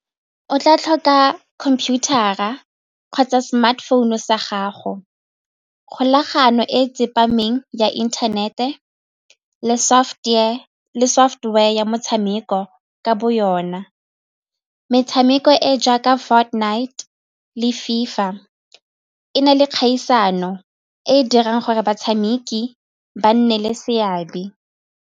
O tla tlhoka computer-ra kgotsa smartphone-u sa gago, kgolagano e tsepameng ya internet-e le software ya motshameko ka bo yona. Metshameko e e jaaka Fortnite le FIFA e na le kgaisano e e dirang gore batshameki ba nne le seabe.